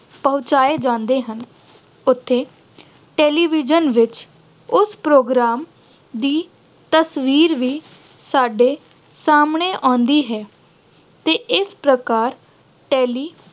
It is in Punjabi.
ਪਹੁੰਚਾਏ ਜਾਂਦੇ ਹਨ। ਉੱਥੇ television ਵਿੱਚ ਉਸ program ਦੀ ਤਸਵੀਰ ਵੀ ਸਾਡੇ ਸਾਹਮਣੇ ਆਉਂਦੀ ਹੈ ਤੇ ਇਸ ਪ੍ਰਕਾਰ television